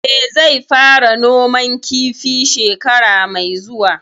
Eh, zai fara noman kifi shekara mai zuwa